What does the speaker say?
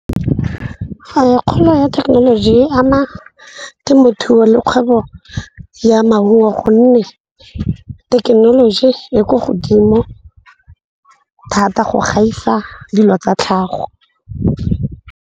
Kgolo ya thekenoloji e ama temothuo le kgwebo ya maungo gonne thekenoloji ya ko godimo thata go gaisa dilo tsa tlhago.